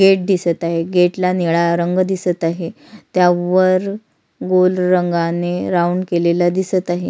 Gate दिसत आहे gate ला निळा रंग दिसत आहे त्यावर गोल रंगाने राऊंड केलेला दिसत आहे.